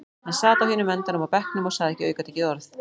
Hann sat á hinum endanum á bekknum og sagði ekki aukatekið orð.